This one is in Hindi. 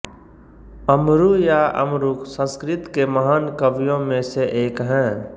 अमरु या अमरूक संस्कृत के महान कवियों में से एक हैं